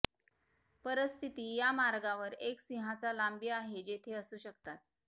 परिस्थिती या मार्गावर एक सिंहाचा लांबी आहे जेथे असू शकतात